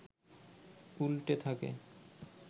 উল্টে থাকে